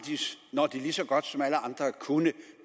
når de lige så godt som alle andre kunne